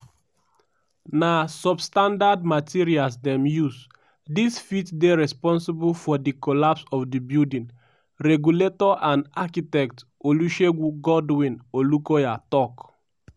"na substandard materials dem use - dis fit dey responsible for di collapse of di building" regulator and architect olusegun godwin olukoya tok.